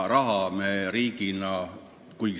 Raha me riigina maksma ei pea.